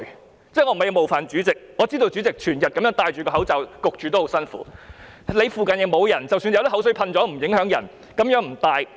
我不是要冒犯主席，我知道主席整天戴上口罩，悶得很辛苦；他附近沒有人，即使噴口水，也不影響人，可以不戴。